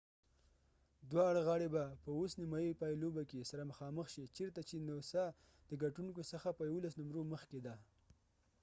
دواړه غاړی به په اوس نیمه پای لوبې کې سره مخامخ شي چېرته چې نوسا noosaدګټونګو څخه په 11 نمرو مخکې ده